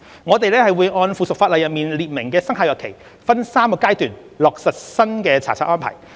我們會按附屬法例中列明的生效日期，分3個階段落實新查冊安排。